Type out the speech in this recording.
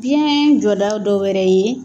Biyɛn jɔda dɔw wɛrɛ ye